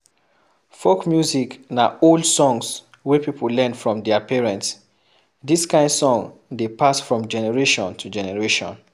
Folk music na old songs wey pipo learn from their parents, dis kind song dey pass from generation to generation